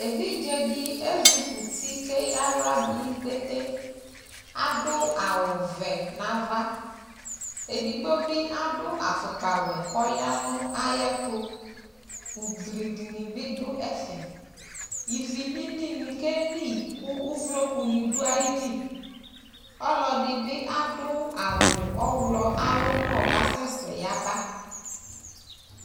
Evidze dɩ ezikuti kʋ eyǝ aɣla dʋ nʋ ikpete Adʋ awʋvɛ nʋ ava Edigbo bɩ adʋ afʋkpawɛ kʋ ɔya nʋ ayɛtʋ Ugli dɩnɩ bɩ dʋ ɛfɛ Ivi lilinɩ keli kʋ uvlokunɩ dʋ ayili Ɔlɔdɩ bɩ adʋ awʋ ɔɣlɔ ayʋ ʋmɔ kʋ asɛsɛ yaba